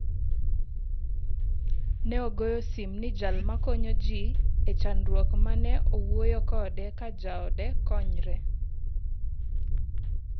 Ne ogoyo sim ni jal makonyo ji e chandruok me ne owuoyo kode ka jaode konyre.